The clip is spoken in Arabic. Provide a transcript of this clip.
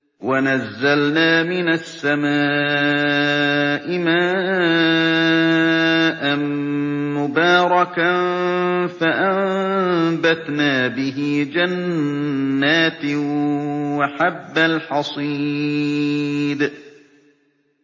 وَنَزَّلْنَا مِنَ السَّمَاءِ مَاءً مُّبَارَكًا فَأَنبَتْنَا بِهِ جَنَّاتٍ وَحَبَّ الْحَصِيدِ